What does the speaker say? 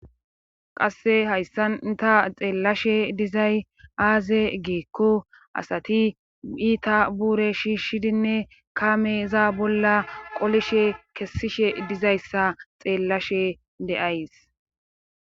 qasse hayssanta xeellashe dizay aaze geekko asati iita buure shiishshidinne kameza bolla qolishe kessishe dizayssa xeellashe de7ays